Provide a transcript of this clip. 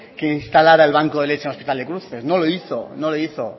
que instalara el banco de leche en el hospital de cruces no lo hizo no lo hizo